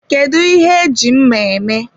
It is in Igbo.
Kedu ihe eji mma eme?